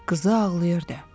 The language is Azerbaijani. Qızı ağlayırdı.